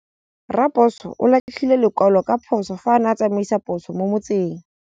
Raposo o latlhie lekwalô ka phosô fa a ne a tsamaisa poso mo motseng.